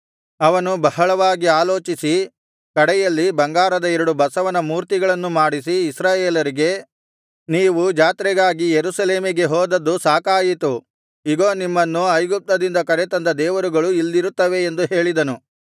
ಅವನು ಬಹಳವಾಗಿ ಆಲೋಚಿಸಿ ಕಡೆಯಲ್ಲಿ ಬಂಗಾರದ ಎರಡು ಬಸವನ ಮೂರ್ತಿಗಳನ್ನು ಮಾಡಿಸಿ ಇಸ್ರಾಯೇಲರಿಗೆ ನೀವು ಜಾತ್ರೆಗಾಗಿ ಯೆರೂಸಲೇಮಿಗೆ ಹೋದದ್ದು ಸಾಕಾಯಿತು ಇಗೋ ನಿಮ್ಮನ್ನು ಐಗುಪ್ತದಿಂದ ಕರೆತಂದ ದೇವರುಗಳು ಇಲ್ಲಿರುತ್ತವೆ ಎಂದು ಹೇಳಿದನು